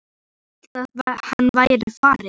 Hann sem hélt að hann væri farinn!